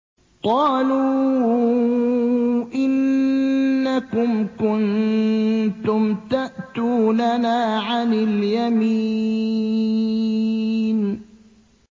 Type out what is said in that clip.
قَالُوا إِنَّكُمْ كُنتُمْ تَأْتُونَنَا عَنِ الْيَمِينِ